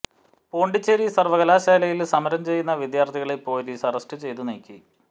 പോണ്ടിച്ചേരി സര്വകലാശാലയില് സമരം ചെയ്യുന്ന വിദ്യാര്ഥികളെ പോലീസ് അറസ്റ്റ് ചെയ്തു നീക്കി